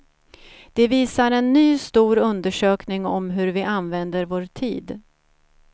Det visar en ny stor undersökning om hur vi använder vår tid.